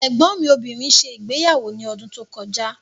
Ẹ̀gbọ́n mi obìnrin ṣe ìgbéyàwó ní ọdún tó kọjá.